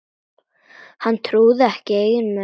Hann trúði ekki eigin eyrum.